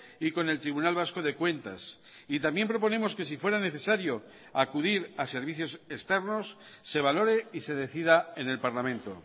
y con el tribunal vasco de cuentas y también proponemos que si fuera necesario acudir a servicios externos se valore y se decida en el parlamento